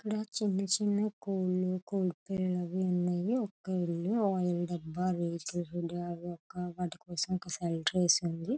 ఇక్కడ చిన్న చిన్న కోళ్లురకరకాల చిన్న చిన్న కోడలు ఒక షెల్టర్ కూడా వేసి ఉంది.